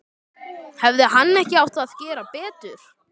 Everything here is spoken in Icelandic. Hefði hann ekki átt að gera betur?